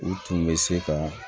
U tun bɛ se ka